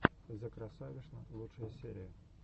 зэкрасавишна лучшая серия